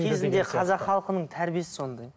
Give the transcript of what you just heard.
кезінде қазақ халқының тәрбиесі сондай